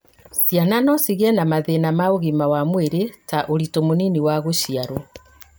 ciana no cigĩe na mathĩna ma ũgima wa mwĩrĩ ta ũritu mũnini wa gũciarwo